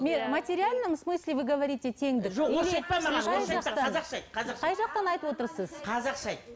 материальном смысле вы говорите теңдік қазақша айт